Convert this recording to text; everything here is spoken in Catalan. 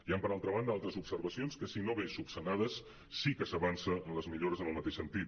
hi han per altra banda altres observacions que si bé no solucionades sí que s’avança en les millores en el mateix sentit